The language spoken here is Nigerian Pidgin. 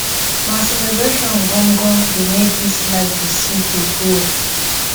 na celebration gan gan dey make dis life dey sweet dey go.